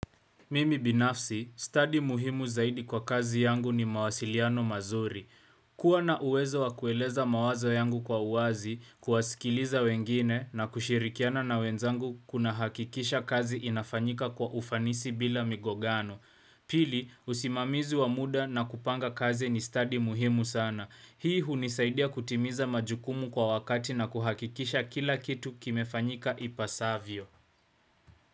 Mimi binafsi, stadi muhimu zaidi kwa kazi yangu ni mawasiliano mazuri. Kua na uwezo wa kueleza mawazo yangu kwa uwazi, kuwasikiliza wengine na kushirikiana na wenzangu kuna hakikisha kazi inafanyika kwa ufanisi bila migogano. Pili, usimamizi wa muda na kupanga kazi ni stadi muhimu sana. Hii hunisaidia kutimiza majukumu kwa wakati na kuhakikisha kila kitu kimefanyika ipasavyo.